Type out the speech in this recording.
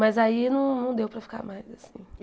Mas aí não não deu para ficar mais assim.